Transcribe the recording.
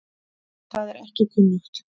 Það er ekki kunnugt.